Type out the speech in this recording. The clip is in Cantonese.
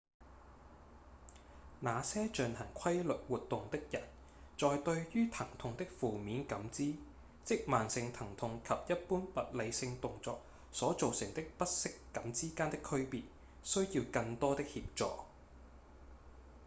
那些進行規律活動的人在對於疼痛的負面感知即慢性疼痛及一般物理性動作所造成的不適感之間的區別需要更多的協助